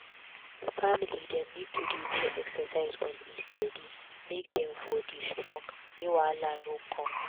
family dem need to dey do exercise on a steady make dem for dey strong make wahala no come